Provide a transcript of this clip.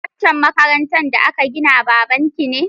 Waccan makarantar da aka ginana baban ki ne?